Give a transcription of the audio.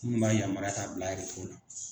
Minnu b'a yamaruya k'a bila